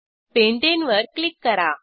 pentane वर click करा